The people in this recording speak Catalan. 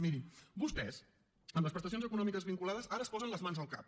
mirin vostès amb les prestacions econòmiques vinculades ara es posen les mans al cap